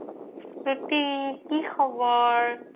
স্ৰুতি কি খবৰ